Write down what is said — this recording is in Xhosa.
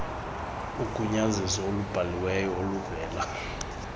ugunyaziso olubhaliweyo oluvela